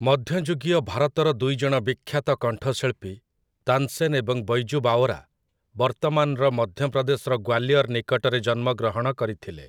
ମଧ୍ୟଯୁଗୀୟ ଭାରତର ଦୁଇଜଣ ବିଖ୍ୟାତ କଣ୍ଠଶିଳ୍ପୀ, ତାନ୍‌ସେନ୍‌ ଏବଂ ବୈଜୁ ବାୱରା, ବର୍ତ୍ତମାନର ମଧ୍ୟପ୍ରଦେଶର ଗ୍ୱାଲିୟର ନିକଟରେ ଜନ୍ମଗ୍ରହଣ କରିଥିଲେ ।